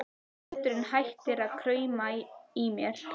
Hláturinn hættir að krauma í mér.